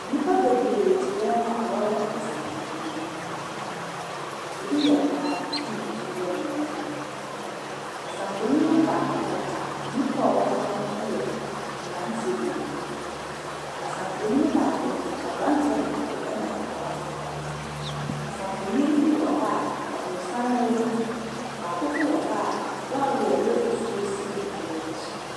Nnipa bebree te dan mu a wɔrehwɛ kasamfonin. Bi yɛ mmaa, ɛna ɛbi nso yɛ mmarima. Kasamfonin no baako wɔ hɔ a, nnipa a ɔwɔ soɔ no yɛ mmeranteɛ mmienu. Kasamfonin baako nso, abebranteɛ baako na akɔkra baako. Kasa mfonin no bi wɔ hɔ a, aborosan wɔ mu. Baako nso wɔ hɔ a lɔɔre a ɛyɛ fufuo si nnipa no akyi.